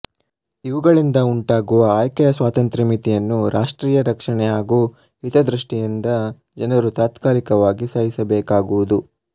ಇವುಗಳಿಂದ ಉಂಟಾಗುವ ಆಯ್ಕೆಯ ಸ್ವಾತಂತ್ರ್ಯ ಮಿತಿಯನ್ನು ರಾಷ್ಟ್ರೀಯ ರಕ್ಷಣೆ ಹಾಗೂ ಹಿತದೃಷ್ಟಿಯಿಂದ ಜನರು ತಾತ್ಕಾಲಿಕವಾಗಿ ಸಹಿಸಬೇಕಾಗುವುದು